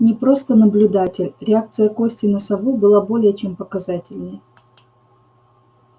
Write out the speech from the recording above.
не просто наблюдатель реакция кости на сову была более чем показательной